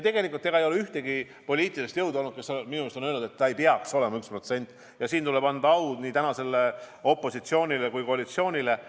Tegelikult ei ole minu arust olnud ühtegi poliitilist jõudu, kes oleks öelnud, et ei peaks olema 1%, ja siin tuleb anda au nii tänasele opositsioonile kui ka koalitsioonile.